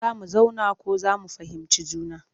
Zo mu zauna ko za mu fahimci juna